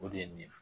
O de ye nin ye